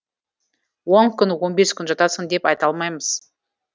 он күн он бес күн жатасың деп айта алмаймыз